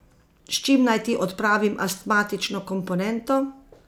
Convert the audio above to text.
S čim naj ti odpravim astmatično komponento?